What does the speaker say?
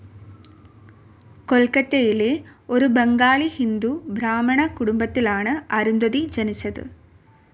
കൊൽക്കത്തയിലെ ഒരു ബംഗാളി ഹിന്ദു ബ്രാഹ്മണകുടുംബത്തിലാണ് അരുന്ധതി ജനിച്ചത്.